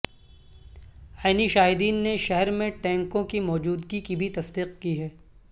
عینی شاہدین نے شہر میں ٹینکوں کی موجودگی کی بھی تصدیق کی ہے